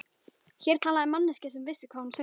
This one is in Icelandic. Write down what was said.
Hér talaði manneskja sem vissi hvað hún söng.